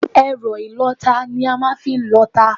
Ẹ̀rọ ìlọta ni a màa n fi n lọta